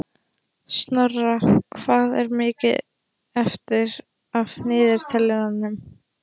Snorra, hvað er mikið eftir af niðurteljaranum?